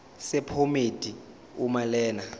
sephomedi uma lena